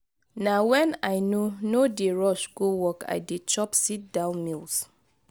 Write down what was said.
na wen i no no dey rush go work i dey chop sit-down meals.